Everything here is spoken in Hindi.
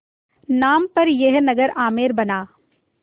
नाम पर यह नगर आमेर बना